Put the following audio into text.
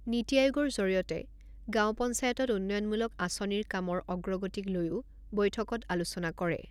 নীতি আয়োগৰ জৰিয়তে গাঁও পঞ্চায়তত উন্নয়নমলূক আঁচনিৰ কামৰ অগ্ৰগতিক লৈও বৈঠকত আলোচনা কৰে।